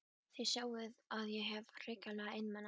Þið sjáið að ég hef verið hrikalega einmana!